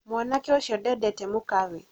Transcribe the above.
mwanake ũcio ndendete mũkawe